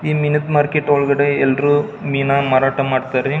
ಈ ಮೀನಾದ್ ಮಾರ್ಕೆಟ್ ಒಳಗಡೆ ಎಲ್ಲರು ಮೀನಾ ಮಾರಾಟ ಮಾಡತ್ತರಿ .